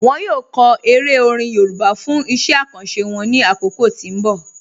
Wọn yọ kọ èrè orin Yorùbá fún iṣẹ̀ àkàńṣé wọn ní akókò tí n bọ̀.